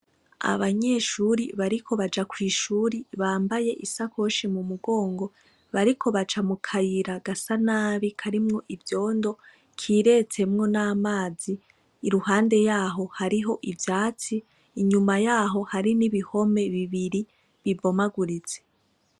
Abanyeshure bariko baja kw'ishure bambaye isakoshi mu mugongo bariko baca mu kayira gasa nabi karimwo ivyondo kiretsemwo n'amazi iruhande yaho hariho ivyatsi inyuma yaho hari n'ibihome bibiri bibomaguritse.